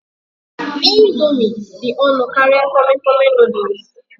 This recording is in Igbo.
Ị̀ndómị́ dị ọnụ karịa Tọmi Tọmi Nụ́dúls